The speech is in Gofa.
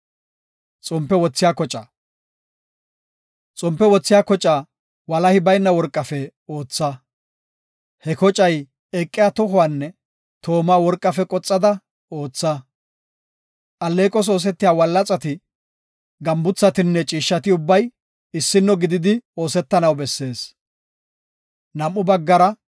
“Xompe wothiya kocaa walahi bayna worqafe ootha. He kocay eqiya tohuwanne tooma worqafe qoxada ootha. Alleeqos oosetiya wallaxati, gambuthatinne ciishshati ubbay issino gididi oosetanaw bessees. Xompe Wothiya Koca